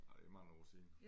Ej det er mange år siden